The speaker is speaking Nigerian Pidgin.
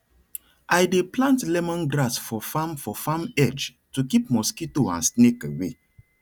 i dey plant lemongrass for farm for farm edge to keep mosquito and snake away